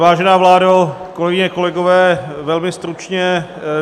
Vážená vládo, kolegyně, kolegové, velmi stručně.